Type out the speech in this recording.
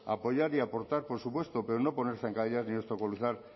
apoyar y aportar por supuesto pero no poner zancadillas ni obstaculizar